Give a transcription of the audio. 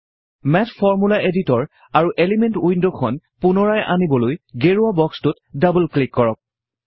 math formula editor আৰু element উইন্ডখন পুনৰাই আনিবলৈ গেৰুৱা বক্সটোত ডাবুল ক্লিক কৰক